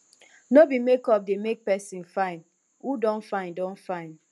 no be make up dey make pesin fine who don fine don fine